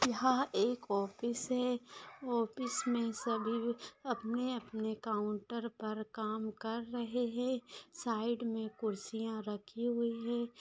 यहाँ एक ऑफिस है ऑफिस मे सभी अ अपने- अपने काउंटर पर काम कर रहे है साइड मे खुर्सियाँ रखी हुई है।